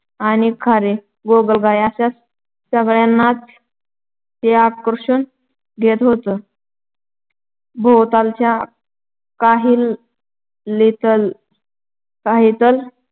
आणि खारी गोगलगाई अश सगळ्यांनाच ते आकर्षून घेत होतं. भोवतालच्या काहिलीतलं